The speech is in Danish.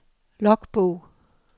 logbog